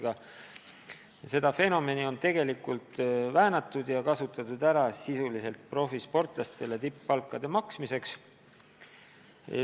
Samas on seda põhimõtet tegelikult väänatud ja kasutatud stipendiume sisuliselt profisportlastele tipp-palkade maksmiseks.